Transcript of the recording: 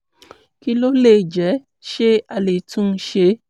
kí ló lè jẹ́? ṣé a lè tún un ṣe?